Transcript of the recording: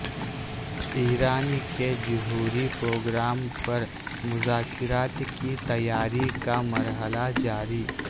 ایران کے جوہری پروگرام پر مذاکرات کی تیاری کا مرحلہ جاری